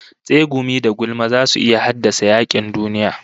Tsegumi da gulma zasu iya haddasa yakin duniya